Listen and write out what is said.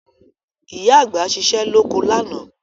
Ìyá àgbà ṣiṣẹ́ lóko lánàá